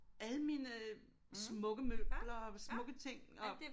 Alle mine smukke møbler og smukke ting og